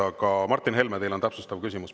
Aga Martin Helme, teil on täpsustav küsimus.